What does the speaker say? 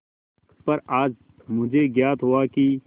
पर आज मुझे ज्ञात हुआ कि